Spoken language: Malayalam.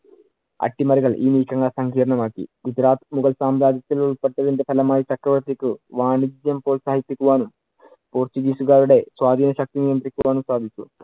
അട്ടിമറികൾ ഈ നീക്കങ്ങൾ സംങ്കീർണം ആക്കി. ഗുജറാത്ത് മുഗൾ സാമ്രാജ്യത്തിൽ ഉൾപെട്ടതിന്‍റെ ഫലമായി ചക്രവർത്തിക്ക് വാണിജ്യം പ്രോത്സാഹിപ്പിക്കുവാനും, പോര്‍ച്ചുഗീസുകാരുടെ സ്വാധീന ശക്തി നിയന്ത്രിക്കുവാനും സാധിച്ചു.